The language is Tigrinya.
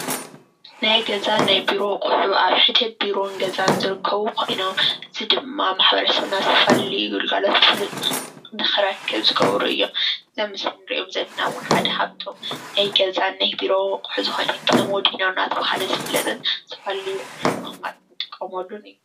ናይ ገዛን ቢሮን ኣቁሑት ኣብ ሕድሕድ ቢሮን ገዛን ዝርከቡ ኮይኖም እዚ ድማ ማሕበረሰብና ዝተፈላለዩ ግልጋሎት ስልጥ ንክረክብ ዝገብሩ እዮም እዞም ኣብ ምስሊ ንሪኦም ዘለና እዉን ሓደ ካብቶም ናይ ገዛን ናይ ቢሮን ኣቁሑ ዝኮነ ኮሞዲኖ እናተብሃለ ዝፍለጥን ዝተፈላለዩ ኣቁሕትን ንምቅማጥ ንጥቀመሉን